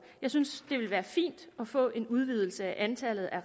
jeg synes det ville være fint at få en udvidelse af antallet af